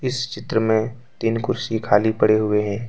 इस चित्र मे तीन कुर्सी खाली पड़ी हुई है।